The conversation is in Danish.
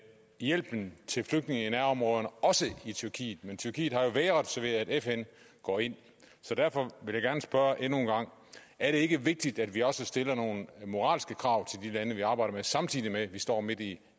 hjælpen til flygtninge i nærområderne også i tyrkiet men tyrkiet har jo vægret sig ved at fn går ind så derfor vil jeg gerne spørge endnu en gang er det ikke vigtigt at vi også stiller nogle moralske krav til de lande vi arbejder samtidig med at vi står midt i